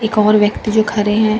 एक और व्यक्ति जो खड़े हैं।